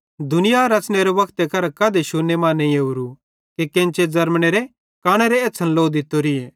दुनिया रच़नेरे वक्ते करां कधे शुन्ने मां नईं ओरोए कि केन्चे ज़र्मनेरे कानेरी एछ़्छ़न लो दित्तोरी